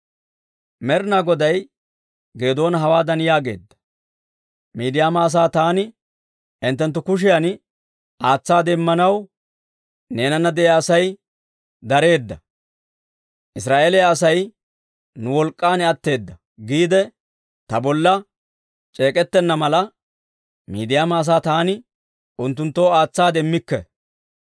Med'inaa Goday Geedoona hawaadan yaageedda; «Miidiyaama asaa taani hinttenttu kushiyan aatsaade immanaw, neenana de'iyaa Asay dareedda; Israa'eeliyaa asay, ‹Nu wolk'k'an atteeddo› giide ta bolla c'eek'ettenna mala, Midiyaama asaa taani unttunttoo aatsaade immikke.